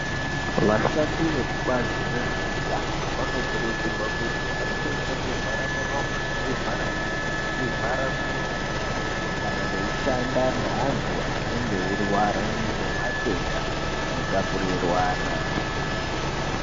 Vashandi vekubazi rezveutano vanokurudzirwa kuti vapfeke zvi vharamuromo, nezv ivharanyara, nezvi vharamwiri weshe kana veishanda neantu anenge eirwara ngematenda ano tapuriranwa.